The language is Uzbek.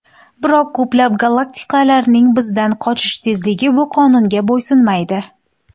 Biroq ko‘plab galaktikalarning bizdan qochish tezligi bu qonunga bo‘ysunmaydi.